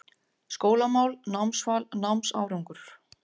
SKÓLAMÁL, NÁMSVAL, NÁMSÁRANGUR